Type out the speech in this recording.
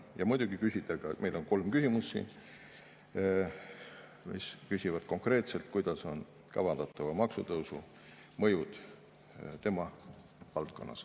Ja muidugi, meil on siin kolm küsimust, mis küsivad konkreetselt, milline on kavandatava maksutõusu mõju tema valdkonnas.